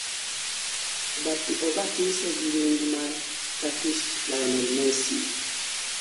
obatise gi nying mar "turkish lionel messi"